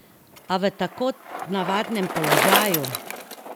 A v tako nenavadnem položaju?